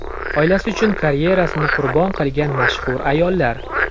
Oilasi uchun karyerasini qurbon qilgan mashhur ayollar .